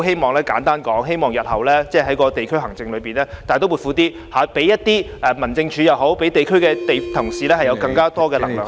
所以，簡單而言，我希望日後在地區行政方面，政府能大刀闊斧一點，讓民政處負責地區行政的同事有更多權力做相關工作......